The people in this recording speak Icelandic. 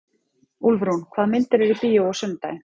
Úlfrún, hvaða myndir eru í bíó á sunnudaginn?